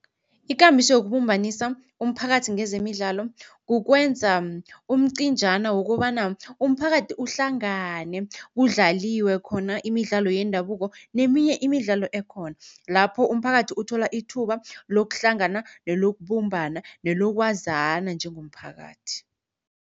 Ikambiso yokubumbanisa umphakathi ngezemidlalo kukwenza umcinjana wokobana umphakathi uhlangane kudlaliwe khona imidlalo yendabuko neminye imidlalo ekhona. Lapho umphakathi uthola ithuba lokuhlangana nelokubumbana nelokwazana njengomphakathi.